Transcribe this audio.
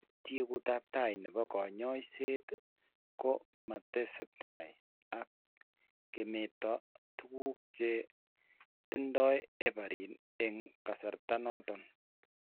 Tyekuutap tai ne po kanyoiset ko matketestai ak kemeto tuguuk che tindo heparin eng' kasarta noton.